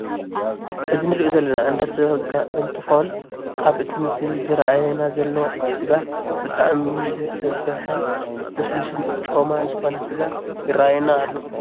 እዚ እንሪኦ ዘለና እንዳ ስጋ እንትኮን ኣብ እቲ ምስሊ ዝረአየና ዘሎ እቲ ስጋ ብጣዕሚ ዝሰበሓን ልስሉሱን ጮማ ዝኮነ ስጋ ይረአየና አሎ።